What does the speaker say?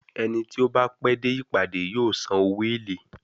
Ẹni tí ó bá pẹ́ dé ìpàdé yóò san owó èlé.